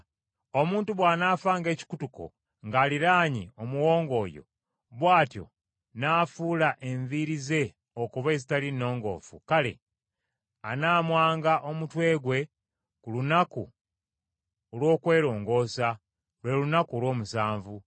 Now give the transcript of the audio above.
“Omuntu bw’anaafanga ekikutuko ng’aliraanye omuwonge oyo, bw’atyo n’afuula enviiri ze okuba ezitali nnongoofu, kale, anaamwanga omutwe gwe ku lunaku olw’okwerongoosa, lwe lunaku olw’omusanvu.